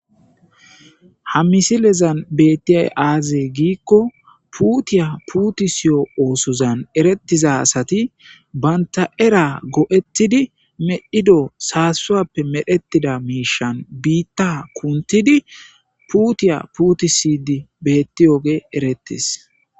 Ha misilezan betiyay axe giko puta putisizo oosozan eretiza asati banta era go'etidi medhido sasappe medhetida mishan bitta kunthidi putiya putisidi betiyogey eretes